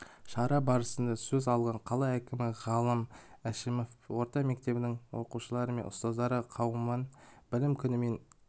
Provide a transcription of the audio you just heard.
шара барысында сөз алған қала әкімі ғалым әшімов орта мектебінің оқушылары мен ұстаздар қауымын білім күнімен